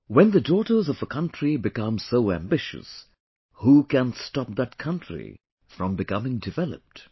When the daughters of a country become so ambitious, who can stop that country from becoming developed